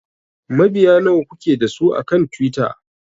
Mabiya nawa kuke da su akan Twitter?